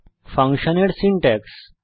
ফাংশনের সিনট্যাক্স